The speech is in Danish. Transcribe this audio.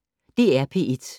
DR P1